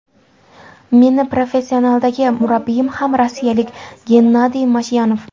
Meni professionaldagi murabbiyim ham rossiyalik Gennadiy Mashyanov.